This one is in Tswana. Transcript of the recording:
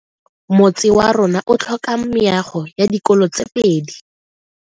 Motse wa rona o tlhoka meago ya dikolo tse pedi.